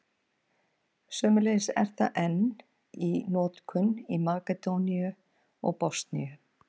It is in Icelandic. Sömuleiðis er það enn í notkun í Makedóníu og Bosníu.